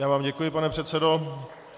Já vám děkuji, pane předsedo.